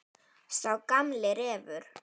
Sá gamli refur.